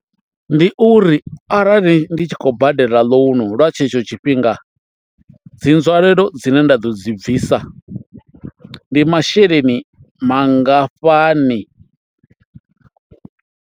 Ndi uri arali ndi tshi khou badela ḽounu nga tshetsho tshifhinga dzi nzwalelo dzine nda ḓo dzi bvisa ndi masheleni mangafhani.